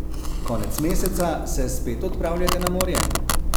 Konec meseca se spet odpravljate na morje?